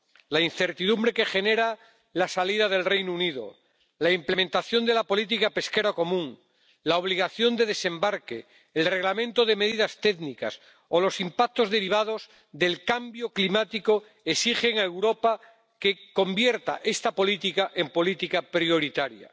La incertidumbre que genera la salida del Reino Unido, la implementación de la política pesquera común, la obligación de desembarque, el Reglamento de medidas técnicas o los impactos derivados del cambio climático exigen que Europa convierta esta política en política prioritaria.